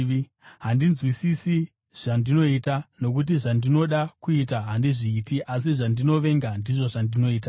Handinzwisisi zvandinoita. Nokuti zvandinoda kuita handizviiti, asi zvandinovenga ndizvo zvandinoita.